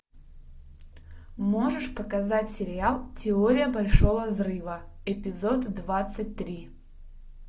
можешь показать сериал теория большого взрыва эпизод двадцать три